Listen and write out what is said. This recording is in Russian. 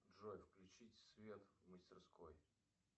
джой включить свет в мастерской